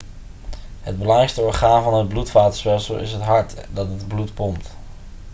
het belangrijkste orgaan van het bloedvatenstelsel is het hart dat het bloed pompt